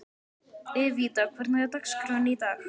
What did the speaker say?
Evíta, hvernig er dagskráin í dag?